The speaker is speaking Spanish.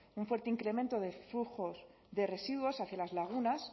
un fuerte incremento de flujos de residuos hacia las lagunas